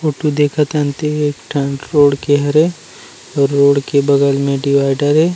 Photo देखत हन ते ह एक ठन रोड के हरे रोड के बगल में डिवीडर हे ।